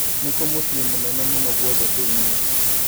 nĩ kũ mũciĩ mũnene mũno gwothe thĩinĩ